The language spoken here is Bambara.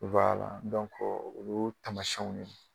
o y'o taamasiyɛnw ye